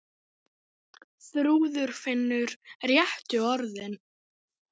Þrúður finnur réttu orðin.